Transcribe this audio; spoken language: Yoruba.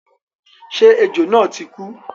Ṣé ejò náà ti kú?